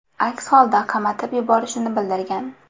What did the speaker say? Aks holda qamatib yuborishini bildirgan.